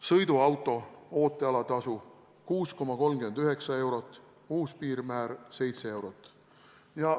Sõiduauto ootealatasu – 6,39 eurot, uus piirmäär – 7 eurot.